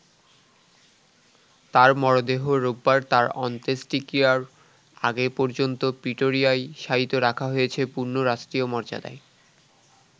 তাঁর মরদেহ রোববার তাঁর অন্তেষ্ট্যিক্রিয়ার আগে পর্যন্ত প্রিটোরিয়ায় শায়িত রাখা হয়েছে পূর্ণ রাষ্ট্রীয় মর্যাদায়।